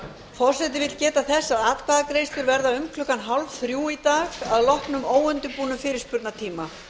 forseti vill geta þess að atkvæðagreiðslur verða um klukkan hálfþrjú í dag að loknum óundirbúnum fyrirspurnatíma